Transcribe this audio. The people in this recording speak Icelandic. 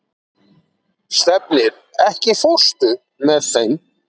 Stefnir, ekki fórstu með þeim?